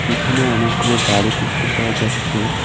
পিছনে অনেকগুলো গাড়ি দেখতে পাওয়া যাচ্ছে।